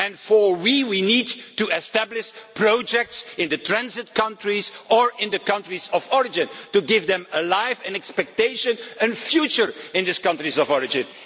For our part we need to establish projects in the transit countries or in the countries of origin to give them a life, an expectation and a future in these countries of origin.